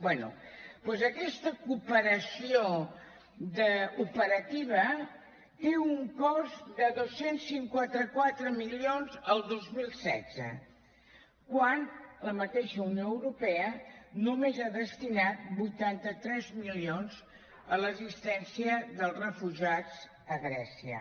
bé doncs aquesta cooperació operativa té un cost de dos cents i cinquanta quatre milions el dos mil setze quan la mateixa unió europea només ha destinat vuitanta tres milions a l’assistència dels refugiats a grècia